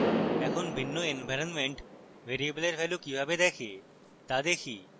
এখন ভিন্ন ইনভাইরনমেন্ট ভ্যারিয়েবলের ভ্যালু কিভাবে দেখে তা দেখি